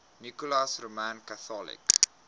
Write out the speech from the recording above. nicholas roman catholic